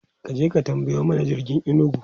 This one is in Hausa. kaje ka tambayo mana jirgin inugu!